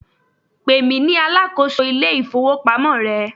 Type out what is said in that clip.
pèmí ní alákóso ilé ifowópamọ́ rẹ